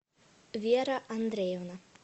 вера андреевна